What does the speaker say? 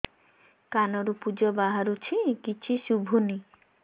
କାନରୁ ପୂଜ ବାହାରୁଛି କିଛି ଶୁଭୁନି